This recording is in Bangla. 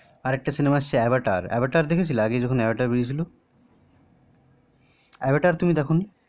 আর একটা সিনেমা এসেছে অবতার অবতার দেখেছো আগে যখন এসেছিলো অবতার তুমি দেখনি